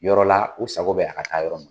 Yɔrɔla u sago bɛ a ka taa yɔrɔ min